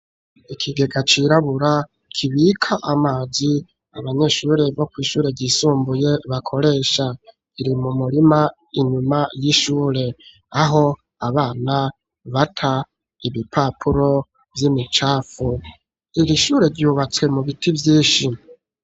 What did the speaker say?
Ikigega cirabura kibika amazi, abanyeshure bo kw'ishure ryisumbuye bakoresha iri mu murima inyuma y'ishure aho abana bata ibipapuro vy'imicafu iri shure ryubatse mu biti vyinshi.